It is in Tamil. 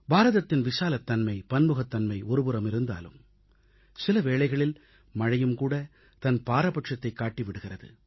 பாரதத்தின் விசாலத்தன்மை பன்முகத்தன்மை ஒருபுறமிருந்தாலும் சில வேளைகளில் மழையும் தன் பாரபட்சத்தைக் காட்டி விடுகிறது